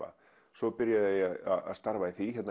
svo byrjaði ég að starfa í því